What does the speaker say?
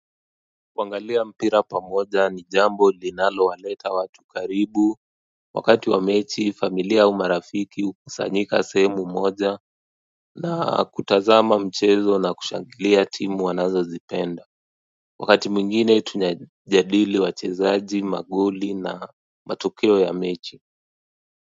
Kuangalia mpira pamoja ni jambo linalowaleta watu karibu, wakati wa mechi familia au marafiki hukusanyika sehemu moja na kutazama mchezo na kushangilia timu wanazozipenda wakati mwingine tunajadili wachezaji magoli na matokeo ya mechi.